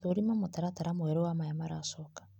Thũrima mũtaratara mwerũ wa maya maracoka.